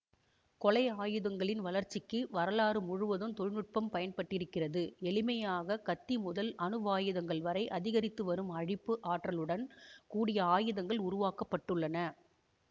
கொலை ஆயுதங்களின் வளர்ச்சிக்கு வரலாறு முழுவதும் தொழினுட்பம் பயன் பட்டிருக்கிறது எளிமையாக கத்தி முதல் அணுவாயுதங்கள் வரை அதிகரித்துவரும் அழிப்பு ஆற்றலுடன் கூடிய ஆயுதங்கள் உருவாக்க பட்டுள்ளன